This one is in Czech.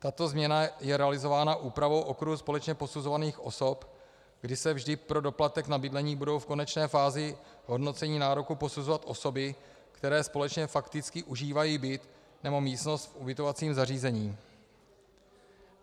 Tato změna je realizována úpravou okruhu společně posuzovaných osob, kdy se vždy pro doplatek na bydlení budou v konečné fázi hodnocení nároku posuzovat osoby, které společně fakticky užívají byt nebo místnost v ubytovacím zařízení.